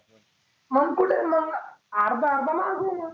मग कुठे मग आर्ध आर्ध माघवु मग.